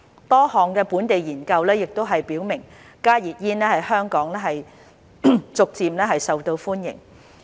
多項本地研究亦表明加熱煙在香港逐漸受到歡迎。